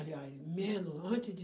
Aliás, menos, antes de